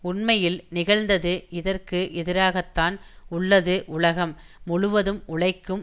உண்மையில் நிகழ்ந்தது இதற்கு எதிராகத்தான் உள்ளது உலகம் முழுவதும் உழைக்கும்